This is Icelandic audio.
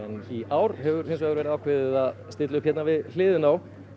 í ár hefur hins vegar verið ákveðið að stilla upp hérna við hliðina á